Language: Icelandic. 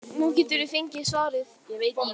Nú geturðu fengið svarið.